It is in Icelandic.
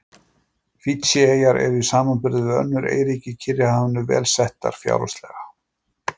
Fídjieyjar eru í samanburði við önnur eyríki í Kyrrahafinu vel settar fjárhagslega.